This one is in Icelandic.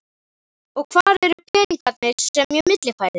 Og hvar eru peningarnir sem ég millifærði?